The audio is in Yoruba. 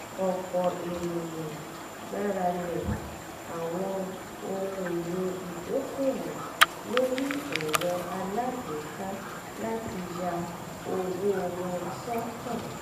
ọ̀pọ̀ ènìyàn gbàralẹ̀ àwọn ohun èlò ìdókòwò lórí erò alágbèéká láti ya owó wọn sọ́tọ̀